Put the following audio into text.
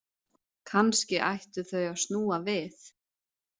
Kannski ættu þau að snúa við.